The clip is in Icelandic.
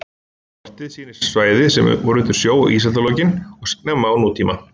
Kortið sýnir svæði sem voru undir sjó í ísaldarlokin og snemma á nútíma.